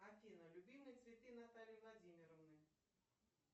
афина любимые цветы натальи владимировны